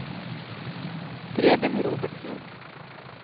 Preben Robertsen